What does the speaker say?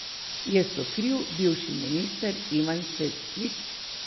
Je sokriv bivši minister Ivan Svetlik?